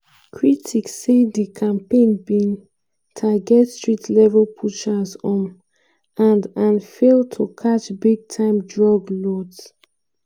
critics say di campaign bin target street-level pushers um and and fail to catch big-time drug lords.